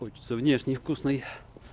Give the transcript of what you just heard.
хочется внешний вкусной